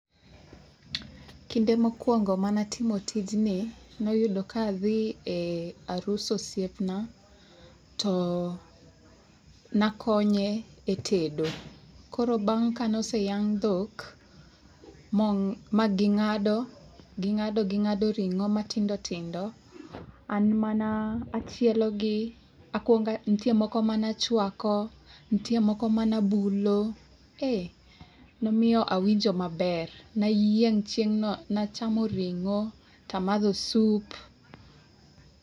Kinde mokwongo manatimo tijni noyudo kadhi e arus osiepna, to nakonye e tedo. Koro bang' kane oseyang' dhok, ma ging'ado, ging'ado ring'o matindo tindo. An mana chielo gi. Nitie moko manachwako, nitie moko manabulo. Ee momiyo awinjo maber. Nayieng' chieng'no. Nachamo ring'o, tamadho soup.